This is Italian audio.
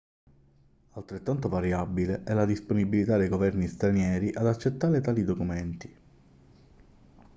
altrettanto variabile è la disponibilità dei governi stranieri ad accettare tali documenti